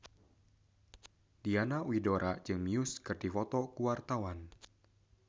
Diana Widoera jeung Muse keur dipoto ku wartawan